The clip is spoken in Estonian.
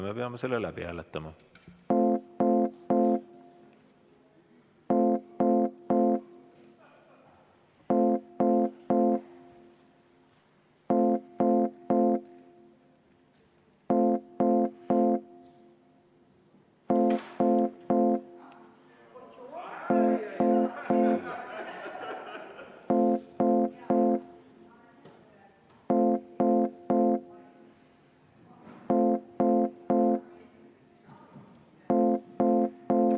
Me peame seda ettepanekut hääletama.